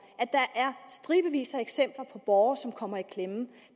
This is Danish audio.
at der er stribevis af eksempler på borgere som kommer i klemme